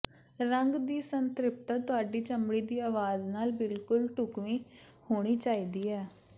ਰੰਗ ਦੀ ਸੰਤ੍ਰਿਪਤਾ ਤੁਹਾਡੀ ਚਮੜੀ ਦੀ ਆਵਾਜ਼ ਨਾਲ ਬਿਲਕੁਲ ਢੁਕਵੀਂ ਹੋਣੀ ਚਾਹੀਦੀ ਹੈ